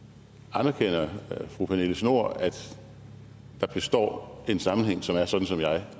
anerkender fru pernille schnoor at der består en sammenhæng som er sådan som jeg